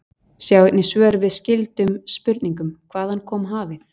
Sjá einnig svör við skyldum spurningum: Hvaðan kom hafið?